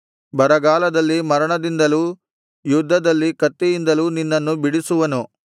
ಬರಗಾಲದಲ್ಲಿ ಮರಣದಿಂದಲೂ ಯುದ್ಧದಲ್ಲಿ ಕತ್ತಿಯಿಂದಲೂ ನಿನ್ನನ್ನು ಬಿಡಿಸುವನು